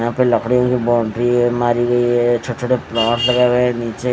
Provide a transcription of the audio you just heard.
वहां पे लकड़ीयों की बाउंड्री है मारी हुई है छोटे छोटे प्लांट लगाये हुए है नीचे--